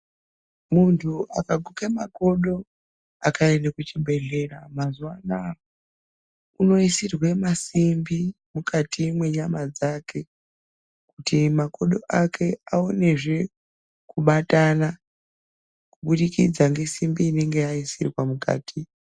Muntu akaguke makodo akaende kuchibhedhleya, mazuwa anaa unoisirwe masimbi mukati mwenyama dzake, kuti makodo ake aonezve kubatana, kubudikidza ngesimbi inonga yaisirwa mukati.